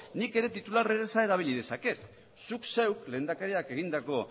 nik ere titular erraza erabili dezaket zuk zeuk lehendakarik egindako